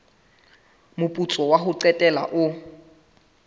moputso wa ho qetela o